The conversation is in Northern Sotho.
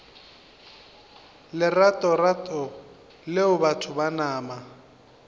leratorato leo batho ba nama